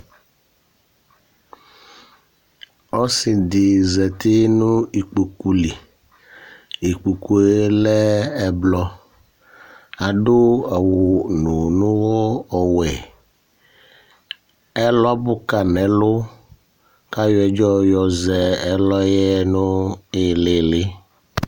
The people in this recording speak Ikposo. Ɔsidi zati nu ikpoku li Ikpoku yɛ lɛ ɛblɔ Adu awununuyɔ ɔwɛ Ɛlɔ abu kayi nu ɛlu kayɔ ɛdzɔ yɔzɛ nilili